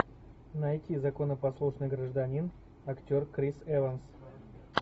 найти законопослушный гражданин актер крис эванс